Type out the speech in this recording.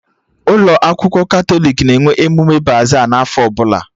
Ụlọ akwụkwọ Katọlik na-enwe emume baza n'afọ ọbụla